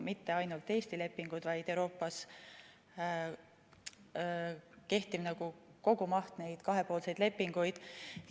Mitte ainult Eesti lepingud, vaid Euroopas kehtivate kahepoolsete lepingute kogumaht.